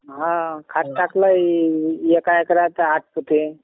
हा खाद टाकलाये एका एकरात आठ पोते